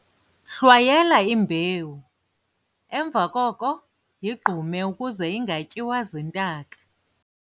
hlwayela imbewu, emva koko yigqume ukuze ingatyiwa ziintaka